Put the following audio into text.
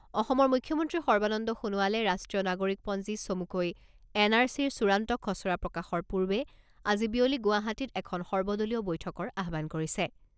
অসমৰ মুখ্যমন্ত্ৰী সৰ্বানন্দ সোণোৱালে ৰাষ্ট্ৰীয় নাগৰিকপঞ্জী চমুকৈ এন আৰ চিৰ চূড়ান্ত খছৰা প্ৰকাশৰ পূৰ্বে আজি বিয়লি গুৱাহাটীত এখন সৰ্বদলীয় বৈঠকৰ আহ্বান কৰিছে।